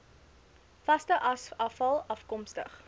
vaste asafval afkomstig